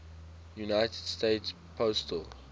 united states postal